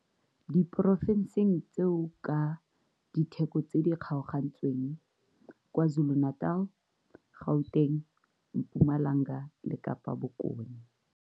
Diporofenseng tseo ka ditheko tse di kgaogantsweng KwaZulu-Natal, Gauteng, Mpumalanga le Kapa Bokone.